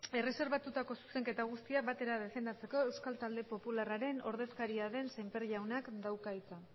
erreserbatutako zuzenketa guztiak batera defendatzeko euskal talde popularraren ordezkaria den sémper jaunak dauka hitza